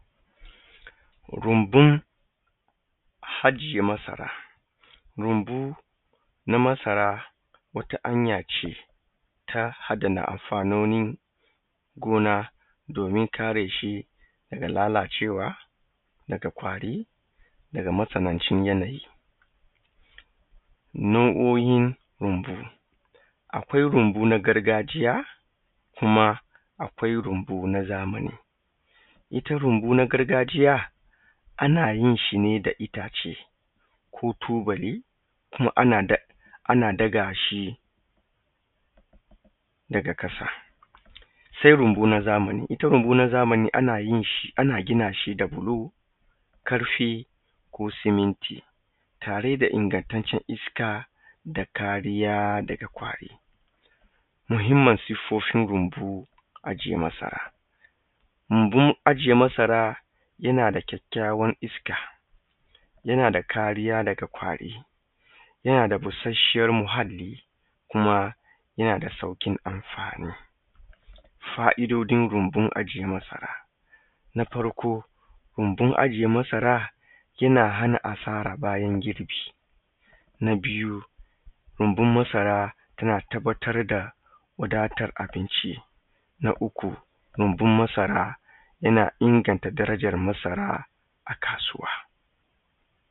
Rumbun ajiye marasa. Rumbun na masara wata hanya ce ta adana amfanonin gona domin kare shi daga lalacewa, daga ƙwari, daga matsanancin yanayi. Nau’o’in rumbu. Akwai rumbu na gargajiya, kuma akwai rumbu na zamani. Ita rumbu na gargajiya ana yin shi ne da itace ko tubali ana ɗaga shi daga ƙasa. Sai rumbu na zamani ita rumbu na zamani ana gina shi da bulo, ƙarfe ko siminti tare da ingantaccen iska da kariya daga ƙwari. Muhimman siffofin runbun aje masara. Rumbun aje masara yana da kyakkyawar iska, yana da kariya daga ƙwari, yana da bushashshiyar muhalli, kuma yana da sauƙin amfani. Fa'idodin rumbun ajiye masara. Na farko rumbun ajiye masara yana hana asara bayan girbi, na biyu rumbun masara tana tabbatar da wadatar abinci, na uku rumbun masara yana inganta darajan masara a kasuwa.